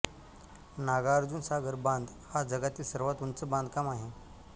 नागार्जुनसागर बांध हा जगातील सर्वात उंच बांधकाम आहे